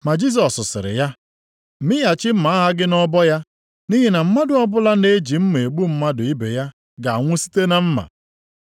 Ma Jisọs sịrị ya, “Mịghachi mma agha gị nʼọbọ ya, nʼihi na mmadụ ọbụla na-eji mma egbu mmadụ ibe ya ga-anwụ site na mma.